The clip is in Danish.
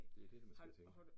Det det der man skal tænke